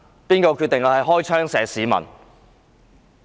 是誰決定開槍射擊市民？